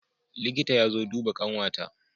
Liƙita ya zo duba ƙanwa ta